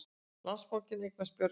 Landsbankinn eignast Björgun